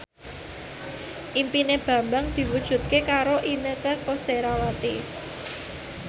impine Bambang diwujudke karo Inneke Koesherawati